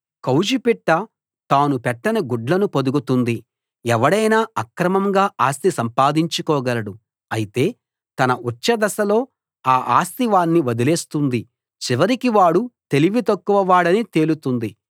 కౌజుపిట్ట తాను పెట్టని గుడ్లను పొదుగుతుంది ఎవడైనా అక్రమంగా ఆస్తి సంపాదించుకోగలడు అయితే తన ఉచ్ఛదశలో ఆ ఆస్తి వాణ్ణి వదిలేస్తుంది చివరికి వాడు తెలివితక్కువవాడని తేలుతుంది